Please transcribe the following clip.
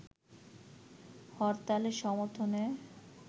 হরতালের সর্মথনে